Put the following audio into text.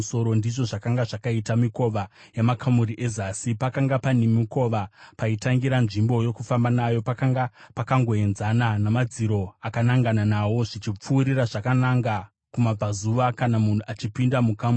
ndizvo zvakanga zvakaita mikova yamakamuri ezasi. Pakanga pane mukova paitangira nzvimbo yokufamba nayo pakanga pakangoenzana namadziro akanangana nawo zvichipfuurira zvakananga kumabvazuva, kana munhu achipinda mumakamuri.